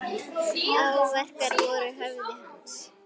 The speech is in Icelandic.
Áverkar voru á höfði hans.